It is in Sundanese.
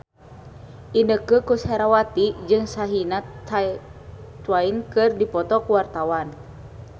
Inneke Koesherawati jeung Shania Twain keur dipoto ku wartawan